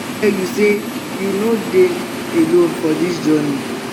i go tell my padi dem wen i um dey find pesin um wey go support me. um